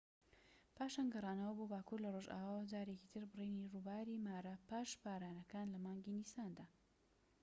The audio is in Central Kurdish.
پاشان گەڕانەوە بۆ باكوور لە ڕۆژئاواوە جارێکیتر بڕینی ڕووباری مارا پاش بارانەکان لە مانگی نیساندا